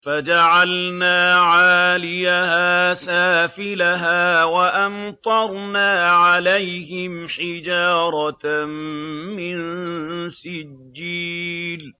فَجَعَلْنَا عَالِيَهَا سَافِلَهَا وَأَمْطَرْنَا عَلَيْهِمْ حِجَارَةً مِّن سِجِّيلٍ